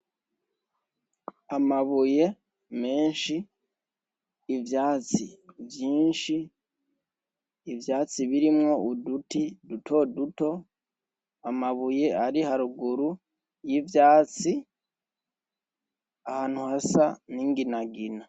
Amabuye menshi ivyatsi vyinshi ivyatsi birimwo uduti duto duto amabuye ari haruguru y'ivyatsi ahantu hasa n'inginagina.